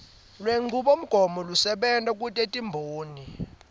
lwenchubomgomo lesebenta kutetimboni